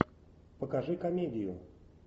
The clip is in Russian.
покажи комедию